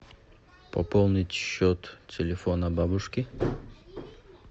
пополнить счет телефона бабушки